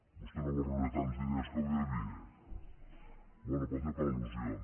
vostè no vol rebre tants diners com hi havia bé ho pot fer per al·lusions